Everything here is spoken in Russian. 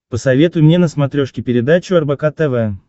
посоветуй мне на смотрешке передачу рбк тв